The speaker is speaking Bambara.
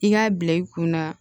I k'a bila i kunna